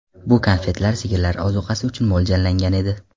Bu konfetlar sigirlar ozuqasi uchun mo‘ljallangan edi.